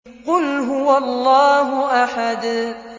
قُلْ هُوَ اللَّهُ أَحَدٌ